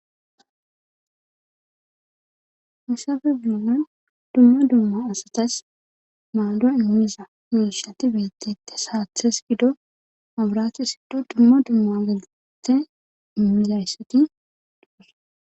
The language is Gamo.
Hisafe guanan dumma dumma asatas maalo immiza minishati beettette saathes gido abraati siddu dumma dumma agalete immizayssati dogos.